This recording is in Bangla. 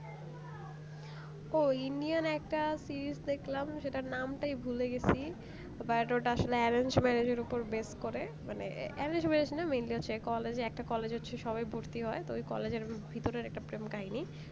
ওই indian একটা series দেখলাম তার নাম টাই ভুলে গেছি but ওটা আসলে arrange marriage এর উপর base করে মানে arrange marriage না mainly হচ্ছে college এর একটা college এ সবাই ভর্তি হয় তো ওই college এর ভিতর এর একটা প্রেম কাহিনী